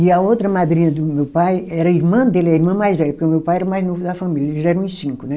E a outra madrinha do meu pai, era irmã dele, a irmã mais velha, porque o meu pai era o mais novo da família, eles já eram uns cinco, né?